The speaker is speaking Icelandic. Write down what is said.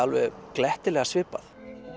glettilega svipað